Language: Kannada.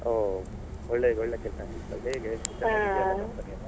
ಓಹ್ ಒಳ್ಳೆ ಒಳ್ಳೆ ಕೆಲಸ ಸಿಕ್ಕಿದೆ ಹೇಗೆ ಚೆನ್ನಾಗಿದ್ಯಾ company ಎಲ್ಲ?